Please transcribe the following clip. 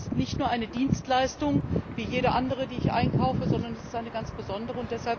Es ist nicht eine Dienstleistung wie jede andere, die ich einkaufe, sondern es ist eine ganz besondere.